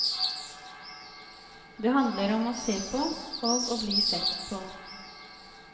Det handler om å se på og å bli sett på.